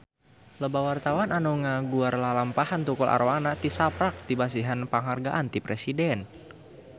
Loba wartawan anu ngaguar lalampahan Tukul Arwana tisaprak dipasihan panghargaan ti Presiden